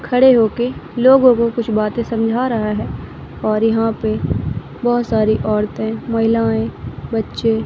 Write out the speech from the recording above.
खड़े होके लोगों को कुछ बातें समझ रहा है और यहां पे बहुत सारी औरतें महिलाएं बच्चे--